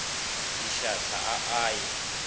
di šwahla a a ye